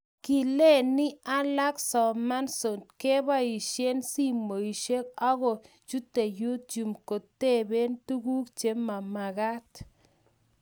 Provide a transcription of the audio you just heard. kileni alak somansot kobaisien simoisiek aku kichute youtube kotoben tuguk che mamekat